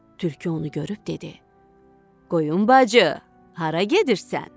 Tülkü onu görüb dedi: "Qoyun bacı, hara gedirsən?"